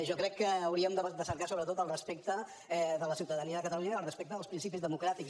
jo crec que hauríem de cercar sobretot el respecte de la ciutadania de catalunya i el respecte dels principis democràtics